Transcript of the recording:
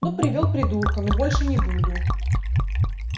ну привёл придурка ну больше не буду